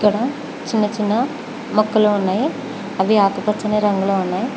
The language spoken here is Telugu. ఈడ చిన్నచిన్నవి మొక్కలు ఉన్నాయి అవి ఆకుపచ్చ రంగులో ఉన్నాయి.